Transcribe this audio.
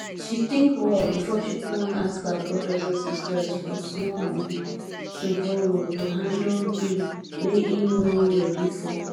she think well before she plan ask her brothers and sisters for small money to borrow to handle bill wey him no ready for